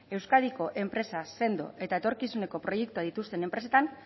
euskadiko enpresa sendo eta etorkizuneko proiektuak dituzten enpresetan